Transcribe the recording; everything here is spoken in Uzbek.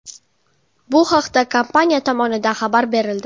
Bu haqda kompaniya tomonidan xabar berildi .